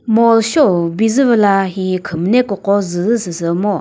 mall sheo bi zü püh la hihi khwü müne kükro dqwü zü süsü ngo.